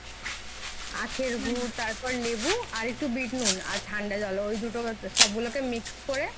আখের গুড় তারপর লেবু আর একটু বিটনুন ঠান্ডা জল ঐদুটো সবগুলোকে mix করে